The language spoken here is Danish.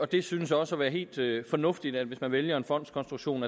det synes også at være helt fornuftigt at der hvis man vælger en fondskonstruktion